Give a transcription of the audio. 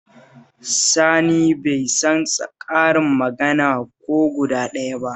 Sani bai san karin magana ko guda ɗaya ba